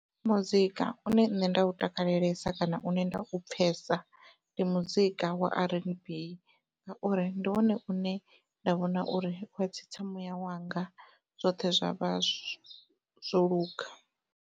Muzika une nṋe nda u takalelesa kana une nda u pfhesa ndi muzika wa r_n_b ngauri ndi wone une nda vhona uri uya tsitsa muyawanga zwoṱhe zwa vha zwo zwoluga.